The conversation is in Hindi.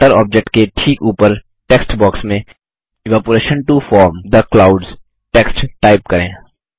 वाटर ऑब्जेक्ट के ठीक ऊपर टेक्स्ट बॉक्स में evaporation to form the clouds text type करें